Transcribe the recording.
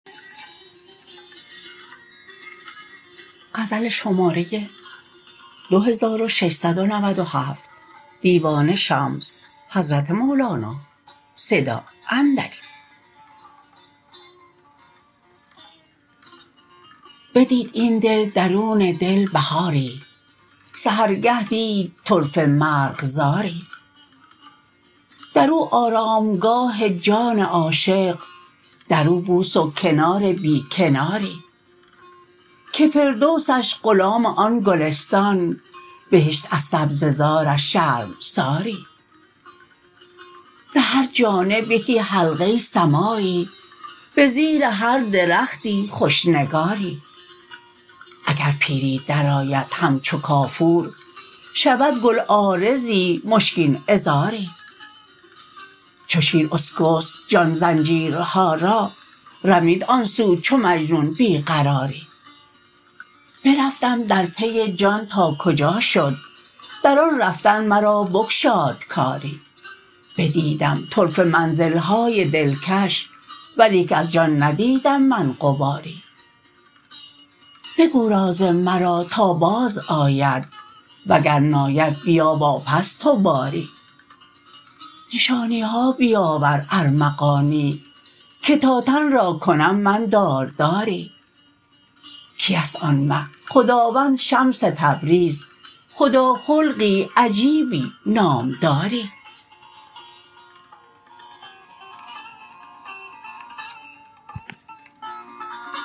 بدید این دل درون دل بهاری سحرگه دید طرفه مرغزاری در او آرامگاه جان عاشق در او بوس و کنار بی کناری که فردوسش غلام آن گلستان بهشت از سبزه زارش شرمساری به هر جانب یکی حلقه سماعی به زیر هر درختی خوش نگاری اگر پیری درآید همچو کافور شود گل عارضی مشکین عذاری چو شیر اسکست جان زنجیرها را رمید آن سو چو مجنون بی قراری برفتم در پی جان تا کجا شد در آن رفتن مرا بگشاد کاری بدیدم طرفه منزل های دلکش ولیک از جان ندیدم من غباری بگو راز مرا تا بازآید وگر ناید بیا واپس تو باری نشانی ها بیاور ارمغانی که تا تن را کنم من دارداری کیست آن مه خداوند شمس تبریز خداخلقی عجیبی نامداری